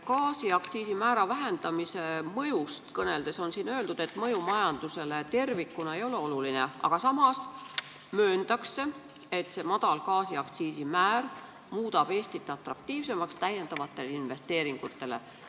Gaasiaktsiisi määra vähendamise mõjust kõneldes on siin öeldud, et mõju majandusele tervikuna ei ole oluline, aga samas mööndakse, et madal gaasiaktsiisi määr muudab Eesti atraktiivsemaks lisainvesteeringutele.